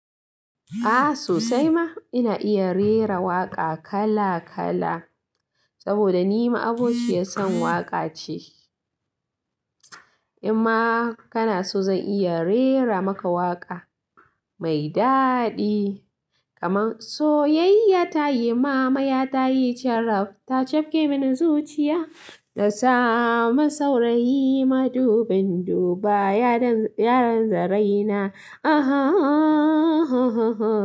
A sosai ma ina iya rera waƙa kala kala saboda ni ma abokiyar san waƙa ce. In ma kana so zan iya rera maka waƙa mai daɗi kaman "Soyayya ta yi mamaya ta yi caraf ta cefke mini zuciya. Na samu saurayi madubin duba yaran zare na aha ha a ha".